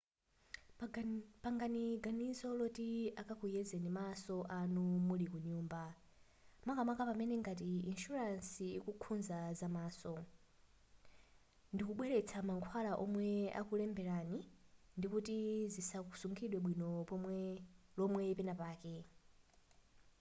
pangani ganizo loti akakuyezeni maso anu muli kunyumba makamaka pamene ngati insuransi ikukhuzaso zamaso ndikubweretsa mankhwala omwe anakulemberani ndikuti zikasungidwe bwino lomwe penapake